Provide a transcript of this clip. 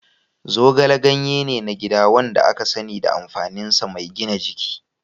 Zogale ganye ne na gida wanda aka sani da amfaninsa mai gina jiki.